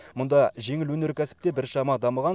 мұнда жеңіл өнеркәсіп те біршама дамыған